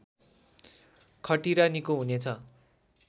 खटिरा निको हुनेछ